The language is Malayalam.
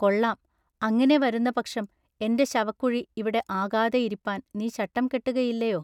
കൊള്ളാം. അങ്ങിനെ വരുന്ന പക്ഷം എന്റെ ശവക്കുഴി ഇവിടെ ആകാതെയിരിപ്പാൻ നീ ശട്ടം കെട്ടുകയില്ലയൊ?